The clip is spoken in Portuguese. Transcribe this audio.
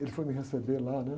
Ele foi me receber lá, né?